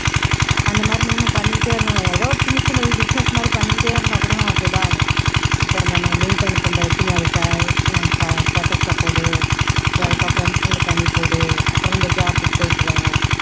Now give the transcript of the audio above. அந்த மாதிரி நீயும் பண்ணிக்கிட்டே இருந்தன்னு வைய்யேன் ஏதோ ஒரு சின்ன சின்ன business மாதிரி பண்ணிக்கிட்டே இருந்தா கூட நமக்கு இதாகும் இப்போ இந்த link அனுப்புனது வச்சு நீ அதை status ல போடு அதுக்கப்பறம் friends ங்களூக்கு அனுப்பி விடு அப்பறம் இந்த job க்கு போயிட்டு வா